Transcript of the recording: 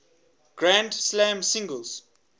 grand slam singles